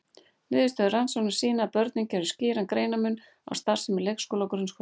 Niðurstöður rannsóknarinnar sýna að börnin gerðu skýran greinarmun á starfsemi leikskóla og grunnskóla.